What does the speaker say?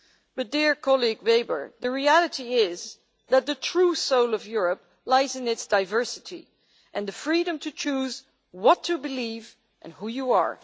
But, dear colleague Weber, the reality is that the true soul of Europe lies in its diversity and the freedom to choose what to believe, and who you are.